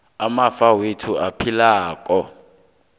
amafa wethu aphilako